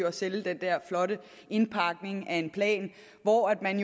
at sælge den der flotte indpakning af en plan hvor man